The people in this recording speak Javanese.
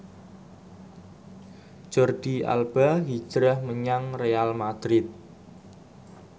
Jordi Alba hijrah menyang Real madrid